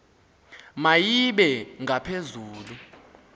ma ibe ngaphezulu